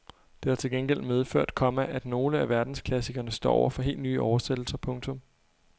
Det har til gengæld medført, komma at nogle af verdensklassikerne står over for helt nye oversættelser. punktum